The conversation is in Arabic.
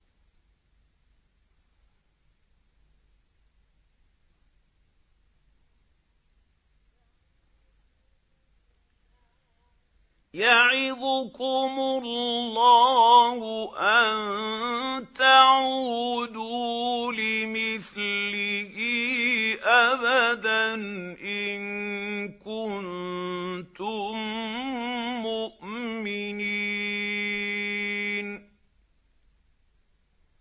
يَعِظُكُمُ اللَّهُ أَن تَعُودُوا لِمِثْلِهِ أَبَدًا إِن كُنتُم مُّؤْمِنِينَ